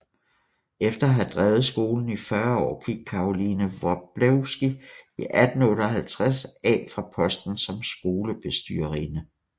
Efter at have drevet skolen i 40 år gik Caroline Wroblewsky i 1858 af fra posten som skolebestyrerinde